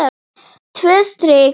Tvö strik.